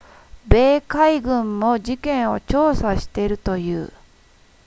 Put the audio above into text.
米海軍も事件を調査しているという